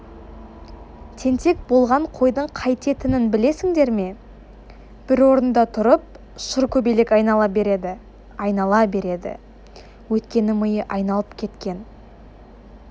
тентек болған қойдың қайтетінін білесіңдер ме бір орында тұрып шыр көбелек айнала береді айнала береді өйткені миы айналып кеткен